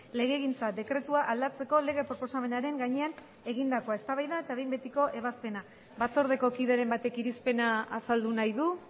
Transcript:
legegintza dekretua aldatzeko lege proposamenaren gainean egindakoa eztabaida eta behin betiko ebazpena batzordeko kideren batek irizpena azaldu nahi du